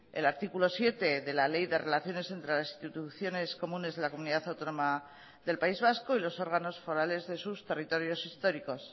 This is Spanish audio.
el artículo siete de la ley de relaciones entre las instituciones comunes de la comunidad autónoma del país vasco y los órganos forales de sus territorios históricos